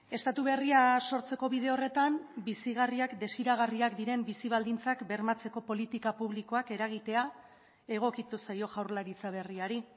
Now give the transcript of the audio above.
estatu berria sortzeko bide horretan bizigarriak desiragarriak diren bizi baldintzak bermatzeko politika publikoak eragitea egokitu zaio jaurlaritza berriari